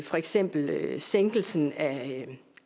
for eksempel sænkelsen